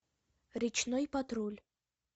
речной патруль